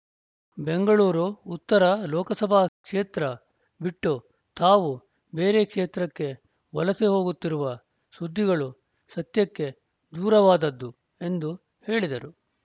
ಬೆಂಗಳೂರು ಉತ್ತರ ಲೋಕಸಭಾ ಕ್ಷೇತ್ರ ಬಿಟ್ಟು ತಾವು ಬೇರೆ ಕ್ಷೇತ್ರಕ್ಕೆ ವಲಸೆ ಹೋಗುತ್ತಿರುವ ಸುದ್ದಿಗಳು ಸತ್ಯಕ್ಕೆ ದೂರವಾದದ್ದು ಎಂದು ಹೇಳಿದರು